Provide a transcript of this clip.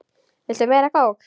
Viltu meira kók?